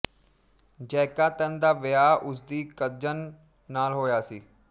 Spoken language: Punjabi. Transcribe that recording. ਜੈਕਾਂਤਨ ਦਾ ਵਿਆਹ ਉਸਦੀ ਕਜ਼ਨ ਨਾਲ ਹੋਇਆ ਸੀ